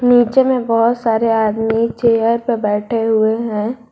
नीचे में बहुत सारे आदमी चेयर पे बैठे हुए हैं।